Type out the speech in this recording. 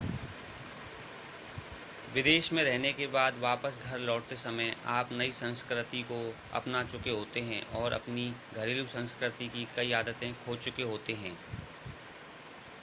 विदेश में रहने के बाद वापस घर लौटते समय आप नई संस्कृति को अपना चुके होते हैं और अपनी घरेलू संस्कृति की कई आदतें खो चुके होते हैं